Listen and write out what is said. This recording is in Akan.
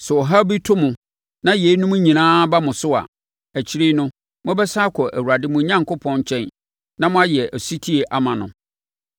Sɛ ɔhaw bi to mo na yeinom nyinaa ba mo so a, akyire no, mobɛsane akɔ Awurade mo Onyankopɔn nkyɛn na moayɛ ɔsetie ama no.